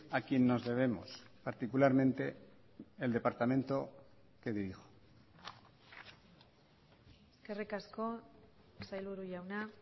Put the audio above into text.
a quien nos debemos particularmente el departamento que dirijo eskerrik asko sailburu jauna